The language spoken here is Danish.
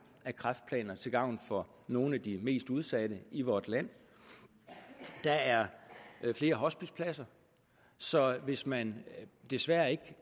af kræftplaner til gavn for nogle af de mest udsatte i vort land der er flere hospicepladser så hvis man desværre ikke